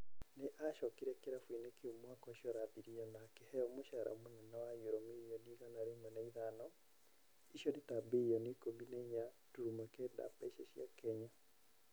Nĩ acokire kĩrabu-inĩ kĩu mwaka ũcio ũrathirire na akĩheo mũcara mũnene wa nyuro mirioni igana rĩmwe na ithano (icio nĩta birioni ikũmi na inya turuma kenda mbeca cia Kenya).